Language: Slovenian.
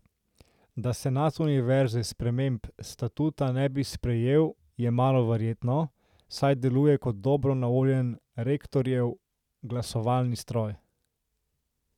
Da senat univerze sprememb statuta ne bi sprejel je malo verjetno, saj deluje kot dobro naoljen rektorjev glasovalni stroj.